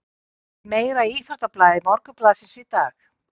Meira í íþróttablaði Morgunblaðsins í dag